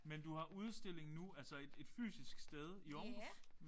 Men du har udstilling nu altså et et fysisk sted i Aarhus?